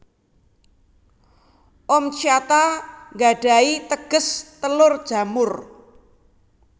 Oomycota nggadhahi teges telur jamur